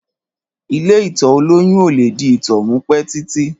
Ìlé ìtọ̀ òlòyún òlẹ di ìtọ̀ mú pẹ titi.